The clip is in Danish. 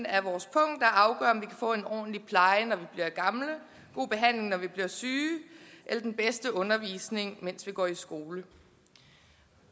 af vores pung der afgør om vi kan få en ordentlig pleje når vi bliver gamle god behandling når vi bliver syge eller den bedste undervisning mens vi går i skole